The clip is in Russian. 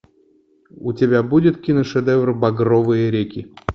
у тебя будет киношедевр багровые реки